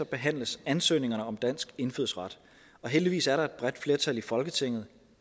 behandles ansøgningerne om dansk indfødsret og heldigvis er der et bredt flertal i folketinget